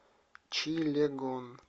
чилегон